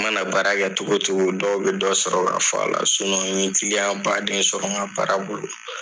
I ma na baarakɛ cogo cogo dɔw bɛ dɔ sɔrɔ k'a fɔ a la. n ye kiliyan baden sɔrɔ n ka baara bolo